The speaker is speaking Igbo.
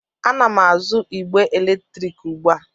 Ana m azụ igbe eletrik ugbu a.